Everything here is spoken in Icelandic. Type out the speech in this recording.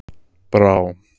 Brá